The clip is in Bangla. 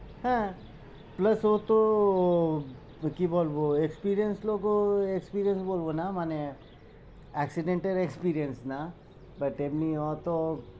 হ্যাঁ plus ও তো আহ কি বলবো experience লোক ও আহ experience বলবো না মানে accident এর experience না but এমনি ও তো